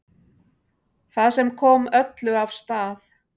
Það sem kom öllu af stað